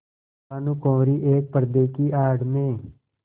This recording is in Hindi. भानुकुँवरि एक पर्दे की आड़ में